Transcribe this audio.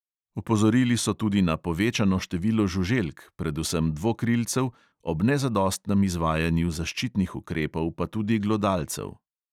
Opozorili so tudi na povečano število žuželk, predvsem dvokrilcev, ob nezadostnem izvajanju zaščitnih ukrepov pa tudi glodalcev.